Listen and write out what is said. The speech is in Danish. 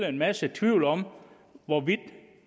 en masse tvivl om hvorvidt